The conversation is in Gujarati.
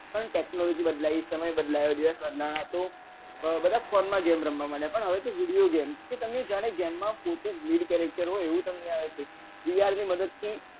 પણ technology બદલાઈ છે અને સમય બદલાયા છો બધા phone મા video game રમવા મડ્યા પણ હવે તો video game કે તમે જ્યારે game માં પોતે જ lead વી આરની મદદ થી